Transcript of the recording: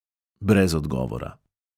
Brez odgovora.